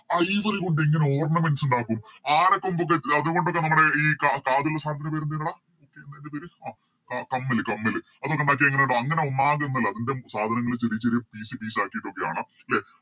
Ivory കൊണ്ട് എങ്ങനെ Ornaments ഇണ്ടാക്കും ആനക്കൊമ്പ് കൾ അതുകൊണ്ടൊക്കെ നമ്മുടെ ഈ കാതിലെ സാധനത്തിൻറെ പേരെന്തെനെടാ പേര് കമ്മല് കമ്മല് അതൊക്കെ അങ്ങനെ അതിൻറെ സാധനങ്ങള്‍ ചെറിയ ചെറിയ Piece piece ആക്കിട്ടൊക്കെയാണ് ലെ